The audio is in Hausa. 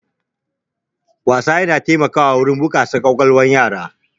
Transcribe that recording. Wasa yana taimakawa wurin bunƙasa ƙwaƙwalwar yara.